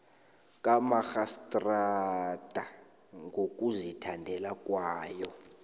kamarhistrada ngokuzithandela kwayo